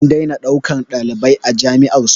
An daina ɗaukan ɗalibai a jami'ar su